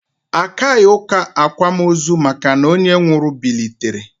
Akaghị ụka akwamozu maka na onye nwụrụ bilitere